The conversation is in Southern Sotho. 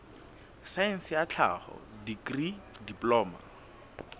saense ya tlhaho dikri diploma